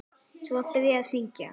Svo var byrjað að syngja.